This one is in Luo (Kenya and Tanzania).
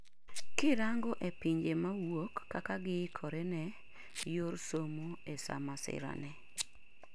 kirango e pinje mawuok, kaka giikore ne ne yor somo e sa masira ni